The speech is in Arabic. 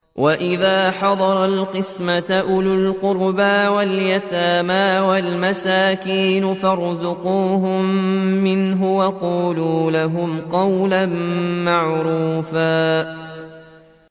وَإِذَا حَضَرَ الْقِسْمَةَ أُولُو الْقُرْبَىٰ وَالْيَتَامَىٰ وَالْمَسَاكِينُ فَارْزُقُوهُم مِّنْهُ وَقُولُوا لَهُمْ قَوْلًا مَّعْرُوفًا